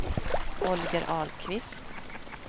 Holger Ahlqvist